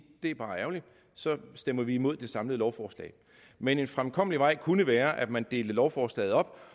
det bare er ærgerligt så stemmer vi imod det samlede lovforslag men en fremkommelig vej kunne være at man deler lovforslaget op